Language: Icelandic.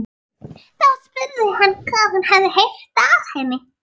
Þá spurði hann hvað hún hefði heyrt af henni.